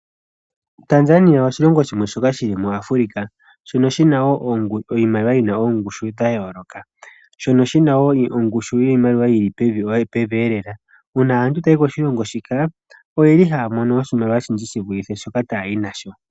Tanzania oshilongo shimwe shoka shi li mu Afulika, shono shina iimaliwa yina oongushu dhaayoloka, shono shina wo ongushu yiimaliwa yi li pevi elela. Uuna aantu tayayi koshilongo shoka, oye li haya mono oshimaliwa oshindji shi vulithe shoka tayayi nasho.